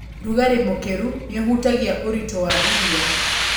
Rugarĩ mũkĩru nĩũhutagia ũrutĩ wa iria.